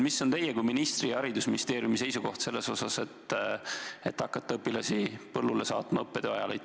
Mis on teie kui ministri ning mis on Haridus- ja Teadusministeeriumi seisukoht selles osas, et hakata õpilasi õppetöö ajal põllule saatma?